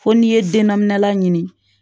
Fo n'i ye den nani laɲini